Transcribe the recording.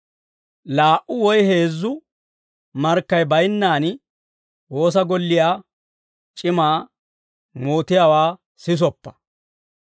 Laa"u woy heezzu markkay baynnaan, woosa golliyaa c'imaa mootiyaawaa sisoppa.